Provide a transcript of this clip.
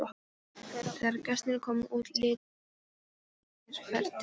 Þegar gestirnir komu út litu þeir kindarlegir hver til annars.